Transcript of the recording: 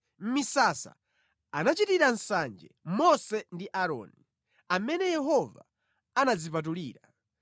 Mʼmisasa, anachitira nsanje Mose ndi Aaroni, amene Yehova anadzipatulira.